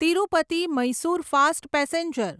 Tirupati Mysore fast passenger